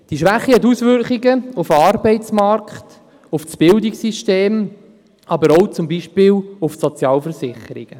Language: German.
Diese Schwäche hat Auswirkungen auf den Arbeitsmarkt, auf das Bildungssystem, aber zum Beispiel auch auf die Sozialversicherungen.